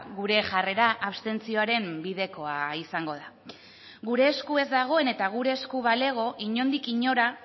gure jarrera abstentzioaren bidekoa izango da gure esku ez dagoen eta gure esku balego inondik inora